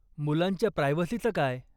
मुलांच्या प्रायव्हसीचं काय?